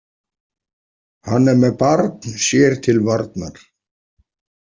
Hann er með barn sér til varnar.